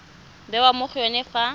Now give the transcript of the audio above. bewa mo go yone fa